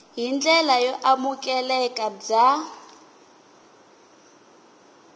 hi ndlela yo amukeleka bya